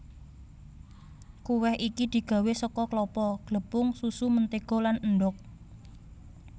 Kuweh iki digawé saka klapa glepung susu mentega lan endhog